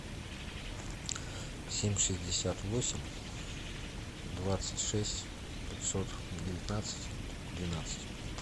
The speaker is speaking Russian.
семь шестьдесят восемь двадцать шесть пятьсот девятнадцать двенадцать